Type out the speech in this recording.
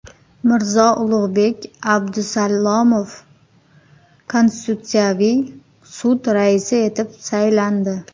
Mirzo-Ulug‘bek Abdusalomov Konstitutsiyaviy sud raisi etib saylandi.